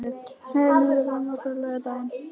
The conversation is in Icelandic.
Sveinmar, ferð þú með okkur á laugardaginn?